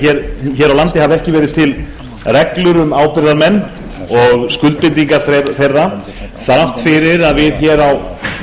hér á landi hafa ekki verið til reglur um ábyrgðarmenn og skuldbindingar þeirra þrátt fyrir að